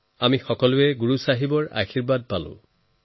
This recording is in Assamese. মই সকলো গুৰু চাহেবৰ আশীৰ্বাদ লাভ কৰিছো